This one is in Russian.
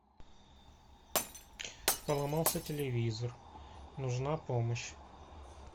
поломался телевизор нужна помощь